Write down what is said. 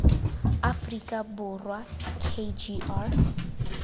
aforika borwa k g r